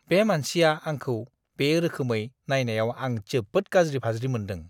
बे मानसिया आंखौ बे रोखोमै नायनायाव आं जोबोद गाज्रि-फाज्रि मोनदों।